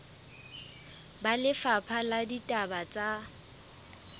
ba lefapha la ditaba tsa